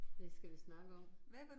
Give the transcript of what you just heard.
Hvad skal vi snakke om?